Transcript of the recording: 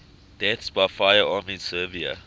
deaths by firearm in serbia